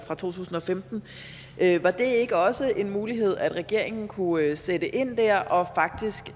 fra 2015 var det ikke også en mulighed at regeringen kunne sætte ind der og faktisk